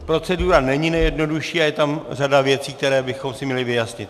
Procedura není nejjednodušší a je tam řada věcí, které bychom si měli vyjasnit.